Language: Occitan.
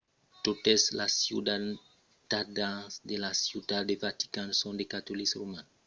totes los ciutadans de la ciutat de vatican son de catolics romans